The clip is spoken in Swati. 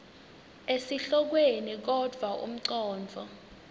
esihlokweni kodvwa umcondvo